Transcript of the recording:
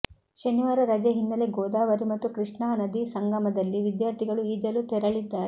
ಶನಿವಾರ ರಜೆ ಹಿನ್ನೆಲೆ ಗೋದಾವರಿ ಮತ್ತು ಕೃಷ್ಣಾ ನದಿ ಸಂಗಮದಲ್ಲಿ ವಿದ್ಯಾರ್ಥಿಗಳು ಈಜಲು ತೆರಳಿದ್ದಾರೆ